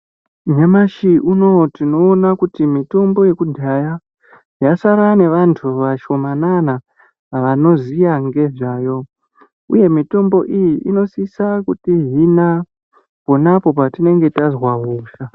Nyamashi unowu tinoona kuyi mutombo yekudhaya yasara nevantu vashoma nana vanoziya ngezvayo uye mutombo iyi inosiso kuti hina ponapo patinenge tazwa hosha.